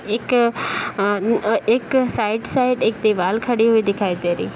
एक अ अ एक साइड साइड एक दीवाल खड़ी हुई दिखाई दे रही है।